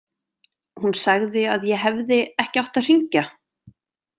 Hún sagði að ég hefði ekki átt að hringja.